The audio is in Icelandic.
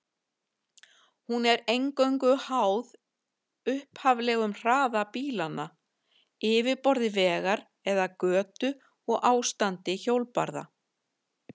Hún er eingöngu háð upphaflegum hraða bílanna, yfirborði vegar eða götu og ástandi hjólbarða.